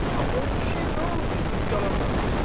Axı o kişiyə nə olub ki, durub yalandan desin?